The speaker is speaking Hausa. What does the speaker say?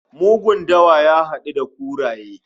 Mugun dawa ya hadu da kuraye